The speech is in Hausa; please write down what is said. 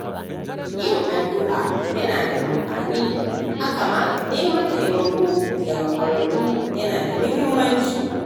Yin addu’a yana da amfani, haka ma neman taimako daga ƙwararru yana da mahimmanci.